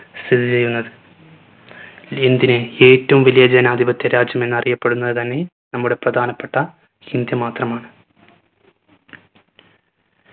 സ്ഥിതി ചെയ്യുന്നത്. എന്തിന് ഏറ്റവും വലിയ ജനാധിപത്യ രാജ്യമെന്ന് അറിയപ്പെടുന്നത് തന്നെ നമ്മുടെ പ്രധാനപ്പെട്ട ഇന്ത്യ മാത്രമാണ്